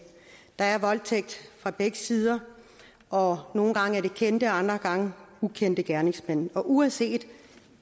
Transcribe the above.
der sker voldtægt fra begge sider og nogle gange er det kendte og andre gange ukendte gerningsmænd uanset